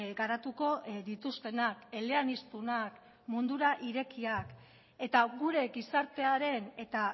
garatuko dituztenak eleaniztunak mundura irekiak eta gure gizartearen eta